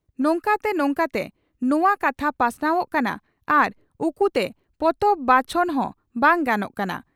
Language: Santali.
ᱱᱚᱝᱠᱟᱛᱮ ᱱᱚᱝᱠᱟᱛᱮ ᱱᱚᱣᱟ ᱠᱟᱛᱷᱟ ᱯᱟᱥᱱᱟᱣᱜ ᱠᱟᱱᱟ ᱟᱨ ᱩᱠᱩ ᱛᱮ ᱯᱚᱛᱚᱵ ᱵᱟᱪᱷᱚᱱ ᱦᱚᱸ ᱵᱟᱝ ᱜᱟᱱᱚᱜ ᱠᱟᱱᱟ ᱾